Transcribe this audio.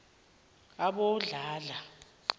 abodladla